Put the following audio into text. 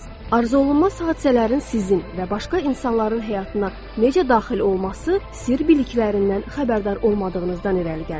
Arzuolunmaz hadisələrin sizin və başqa insanların həyatına necə daxil olması sirr biliklərindən xəbərdar olmadığınızdan irəli gəlir.